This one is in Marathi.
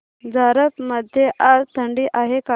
झारप मध्ये आज थंडी आहे का